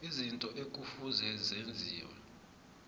izinto ekufuze zenziwe